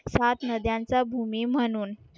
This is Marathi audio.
सात नद्यांचा भूमी म्हणून